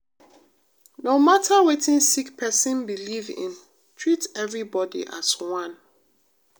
no mata wetin sick pesin believe in treat everybody as one.